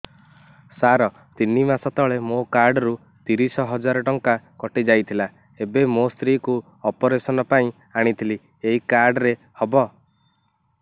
ସାର ତିନି ମାସ ତଳେ ମୋ କାର୍ଡ ରୁ ତିରିଶ ହଜାର ଟଙ୍କା କଟିଯାଇଥିଲା ଏବେ ମୋ ସ୍ତ୍ରୀ କୁ ଅପେରସନ ପାଇଁ ଆଣିଥିଲି ଏଇ କାର୍ଡ ରେ ହବ